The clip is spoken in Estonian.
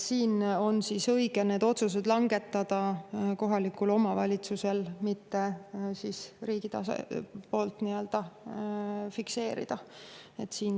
Siinjuhul on õige lasta kohalikul omavalitsusel need otsused langetada, mitte see riigi poolt fikseerida.